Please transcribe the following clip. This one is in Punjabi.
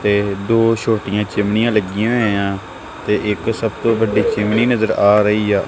ਤੇ ਦੋ ਛੋਟੀਆਂ ਚਿਮਨੀਆਂ ਲੱਗੀਆਂ ਹੋਈਆਂ ਤੇ ਇੱਕ ਸਭ ਤੋਂ ਵੱਡੀ ਚਿਮਨੀ ਨਜਰ ਆ ਰਹੀ ਆ।